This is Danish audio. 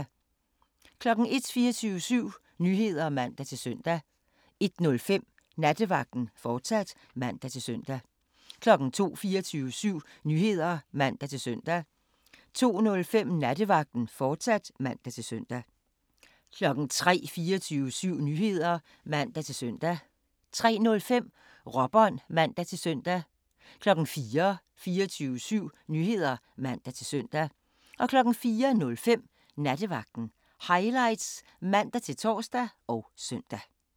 01:00: 24syv Nyheder (man-søn) 01:05: Nattevagten, fortsat (man-søn) 02:00: 24syv Nyheder (man-søn) 02:05: Nattevagten, fortsat (man-søn) 03:00: 24syv Nyheder (man-søn) 03:05: Råbånd (man-søn) 04:00: 24syv Nyheder (man-søn) 04:05: Nattevagten Highlights (man-tor og søn)